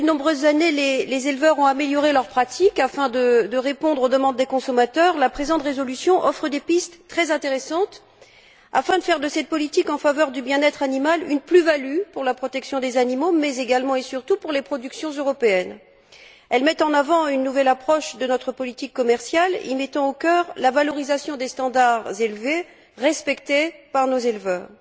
Depuis de nombreuses années, les éleveurs ont amélioré leurs pratiques afin de répondre aux demandes des consommateurs. La présente résolution offre des pistes très intéressantes afin de faire de cette politique en faveur du bien être animal une plus value pour la protection des animaux mais, également et surtout, pour les productions européennes. Elle met en avant une nouvelle approche de notre politique commerciale en y mettant au cœur la valorisation des normes élevées que respectent nos éleveurs.